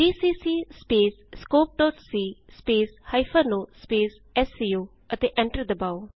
GCC scopeਸੀ o SCO ਅਤੇ enter ਦਬਾਉ